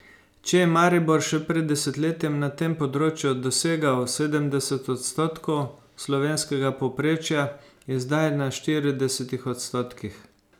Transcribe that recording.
Če je Maribor še pred desetletjem na tem področju dosegal sedemdeset odstotkov slovenskega povprečja, je zdaj na štiridesetih odstotkih.